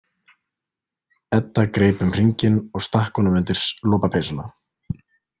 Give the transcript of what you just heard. Edda greip um hringinn og stakk honum undir lopapeysuna.